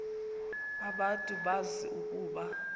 abantu bazi ukuba